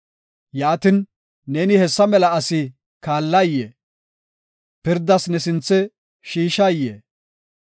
Yaatin, neeni hessa mela asi kaallayee? pirdas ne sinthe shiishayee?